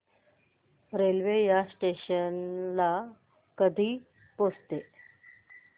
railway या station ला कधी पोहचते